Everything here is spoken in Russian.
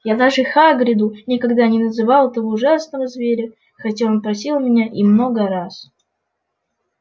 я даже хагриду никогда не называл этого ужасного зверя хотя он просил меня и много раз